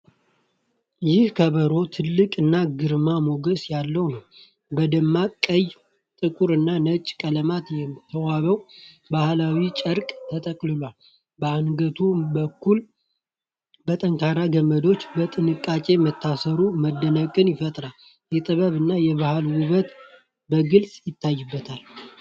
ይህ ከበሮ ትልቅ እና ግርማ ሞገስ ያለው ነው! በደማቅ ቀይ፣ ጥቁር እና ነጭ ቀለማት የተዋበው ባህላዊ ጨርቅ ተጠቅልሎ፣ በአንገቱ በኩል በጠንካራ ገመዶች በጥንቃቄ መታሰሩ መደነቅን ይፈጥራል። የጥበብ እና የባህል ውበት በግልጽ ይታይበታል!